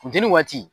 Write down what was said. Funteni waati